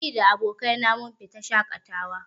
Ni da ƙawaye na mun fita shaƙatawa